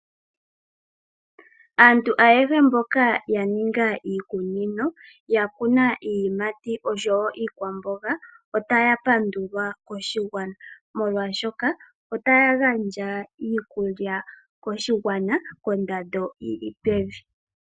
Aantu ayehe mboka yaninga iikunino yakuna iiyimati osho wo iikwamboga, otaya pandulwa koshigwana molwashoka, otaya gandja iikulya koshigwana kondando yili pevi.